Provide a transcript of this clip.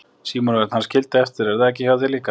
Símon Örn: Hann skildi eftir er það ekki hjá þér líka?